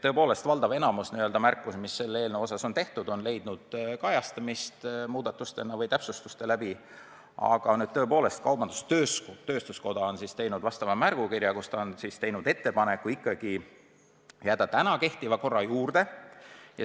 Tõepoolest valdav enamik märkusi, mis selle eelnõu kohta on tehtud, on leidnud kajastamist täpsustuste läbi, aga tõepoolest kaubandus-tööstuskoda on saatnud märgukirja, kus ta on teinud ettepaneku ikkagi jääda praegu kehtiva korra juurde.